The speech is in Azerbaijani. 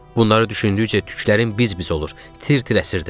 Bunları düşündükcə tüklərim biz-biz olur, tir-tir əsirdim.